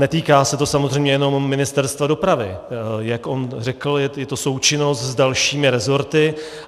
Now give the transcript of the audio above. Netýká se to samozřejmě jenom Ministerstva dopravy, jak on řekl, je to součinnost s dalšími rezorty.